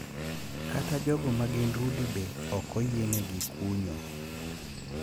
Kata jogo magin rude be ok oyienegi kunyo.